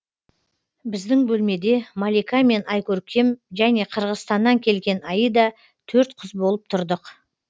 біздің бөлмеде малика мен айкөркем және қырғызстаннан келген аида төрт қыз болып тұрдық